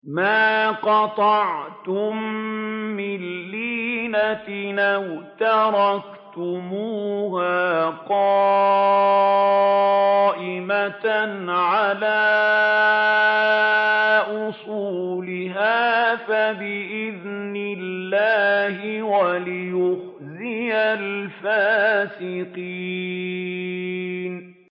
مَا قَطَعْتُم مِّن لِّينَةٍ أَوْ تَرَكْتُمُوهَا قَائِمَةً عَلَىٰ أُصُولِهَا فَبِإِذْنِ اللَّهِ وَلِيُخْزِيَ الْفَاسِقِينَ